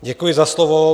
Děkuji za slovo.